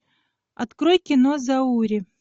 открой кино заури